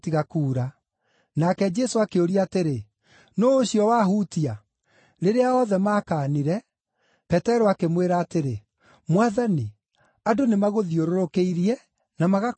Nake Jesũ akĩũria atĩrĩ, “Nũũ ũcio wahutia?” Rĩrĩa othe maakaanire, Petero akĩmwĩra atĩrĩ, “Mwathani, andũ nĩmagũthiũrũrũkĩirie na magakũhatĩka.”